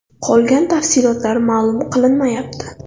Qolgan tafsilotlar ma’lum qilinmayapti.